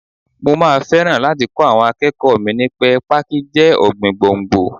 Mo máa fẹ́ràn láti kọ́ àwọn akẹ́kọ̀ọ́ mi ní pẹ́ Pákí jẹ́ ọ̀gbìn gbòǹgbò.